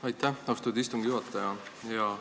Aitäh, austatud istungi juhataja!